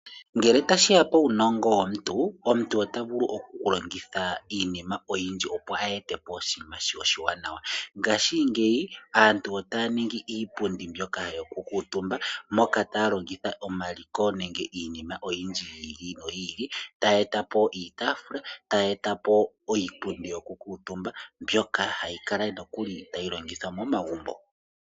Ngele tashi ya puunongo womuntu omuntu ota vulu okulongitha iinima oyindji opo a yete po oshinima oshiwanawa ngashingeyi aantu otaa ningi iipundi mbyoka yokukuutumba moka taa longitha omaliko nenge iinima oyindji yi ili no yi ili tayi eta po iitafula tayi eta po iippundi yokuutumba mbyoka hayi kala nokuli tayi longithwa momagumbo.